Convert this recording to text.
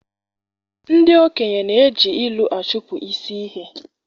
Ndị okenye na-eji ilu achụpụ isi ihe